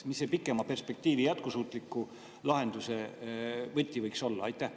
Mis see pikema perspektiiviga jätkusuutliku lahenduse võti võiks olla?